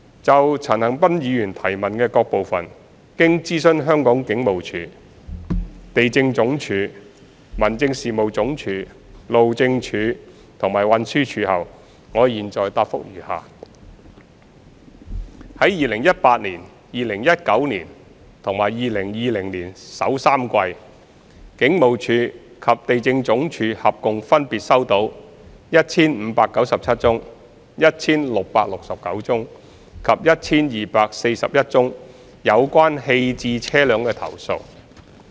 就陳恒鑌議員質詢的各部分，經諮詢香港警務處、地政總署、民政事務總署、路政署及運輸署後，我現在答覆如下：一及三在2018年、2019年及2020年首3季，警務處及地政總署合共分別收到 1,597 宗、1,669 宗及 1,241 宗有關棄置車輛的投訴。